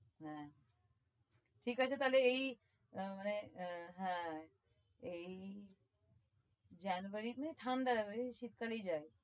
হ্যাঁ ঠিক আছে তাহলে এই হম মানে হম হ্যাঁ এই january তে ঠাণ্ডা আছে এই শীতকালেই যায়।